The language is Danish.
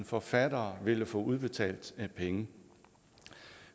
forfattere ville få udbetalt penge